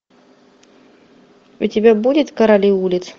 у тебя будет короли улиц